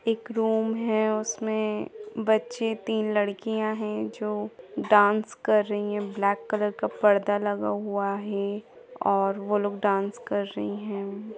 एक रूम हैउसमे बच्चे तीन लड़कियां है जो डांस कर रही है ब्लैक कॉलर का पर्दा लगा हुआ है और वो लोग डांस कर रही है।